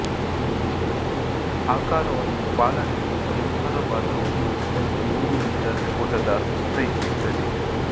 ಆಕಾರವನ್ನು ಪಾಲನೆಯಲ್ಲಿ ಗಮನಾರ್ಹ ಪಾತ್ರವನ್ನು ಒಂದು ನೂರು ಮೀಟರ್ ಓಟದ ವಹಿಸುತ್ತದೆ